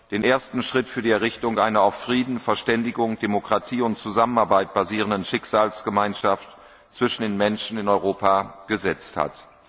den ersten Schritt zur Errichtung einer auf Frieden, Verständigung, Demokratie und Zusammenarbeit basierenden Schicksalsgemeinschaft zwischen den Menschen in Europa getan hat.